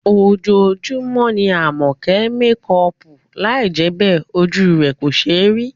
Ojoojúmọ́ ni Àmọ̀kẹ́ ń mekọọ̀pù, lai jẹ́ bẹ́ẹ̀, ojú rẹ̀ kò ṣéé rí